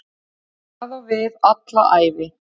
Það á við alla ævi.